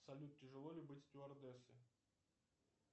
салют тяжело ли быть стюардессой